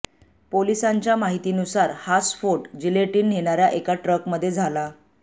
पोलिसांच्या माहितीनुसार हा स्फोट जिलेटीन नेणाऱ्या एका ट्रकमध्ये झाला